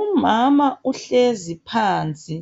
Umama uhlezi phansi.